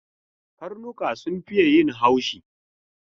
Karnuka sun fiye yin haushi.